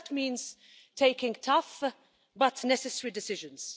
That means taking tough but necessary decisions.